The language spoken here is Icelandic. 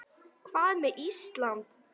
Hvað með Ísland?